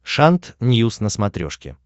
шант ньюс на смотрешке